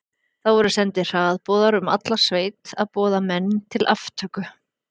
Það voru sendir hraðboðar um alla sveit að boða menn til aftöku.